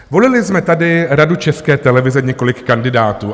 Volili jsme tady Radu České televize, několik kandidátů.